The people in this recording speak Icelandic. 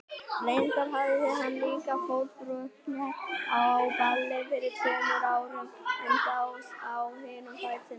Reyndar hafði hann líka fótbrotnað á balli fyrir tveimur árum, en þá á hinum fætinum.